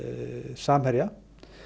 Samherja